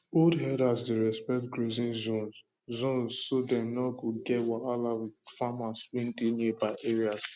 old herders dey respect grazing zones zones so dem no go get wahala with farmers wey dey nearby area